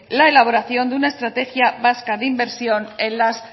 la elaboración de una estrategia vasca de inversión en las